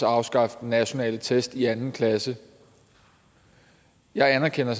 afskaffe nationale test i anden klasse jeg anerkender